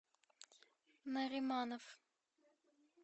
нариманов